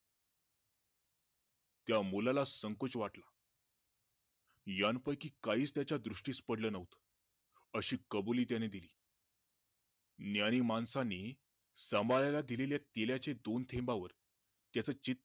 त्या मुलाला संकोच वाटला यां पैकी काहीच त्याचा दृष्टीस पडलं नव्हतं अशी कबुली त्याने दिली ज्ञानी माणसानी सांभाळायला दिलेल्या दोन थेंबांवर त्याचे चित्त